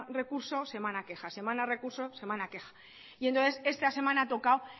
recurso semana queja semana recurso semana queja y entonces esta semana ha tocado